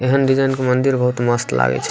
एहन डिजाइन के मंदिर बहुत मस्त लागय छै।